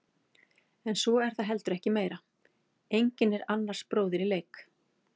En svo er það heldur ekki meira, enginn er annars bróðir í leik.